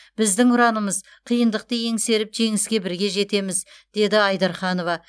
біздің ұранымыз қиындықты еңсеріп жеңіске бірге жетеміз деді айдарханова